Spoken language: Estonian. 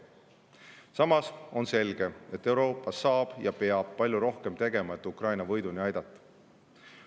Samas on selge, et Euroopa saab ja peab palju rohkem tegema, et Ukraina võiduni aidata.